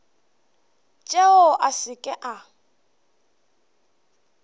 tšeo a se ke a